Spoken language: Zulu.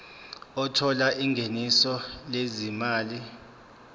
othola ingeniso lezimali